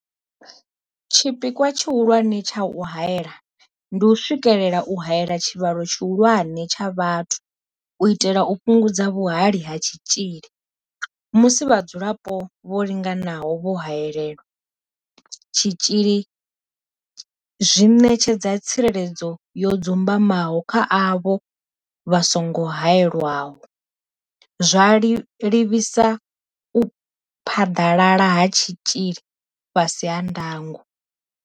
Tshipikwa tshi hulwane tsha u haela ndi u swikelela u haela tshivhalo tshihulwane tsha vhathu u itela u fhungudza vhuhali ha tshitzhili, musi vhadzulapo vho linganaho vho haelelwa tshitzhili zwi ṋetshedza tsireledzo yo dzumbamaho kha avho vha songo haelwaho, zwa livhisa u phaḓalala ha tshitzhili fhasi ha ndango.